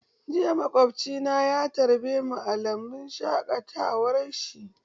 Jiya maƙwabci na ya tarbemu a lambun shaƙatawar shi.